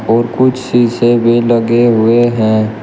और कुछ शीशे भी लगे हुए हैं।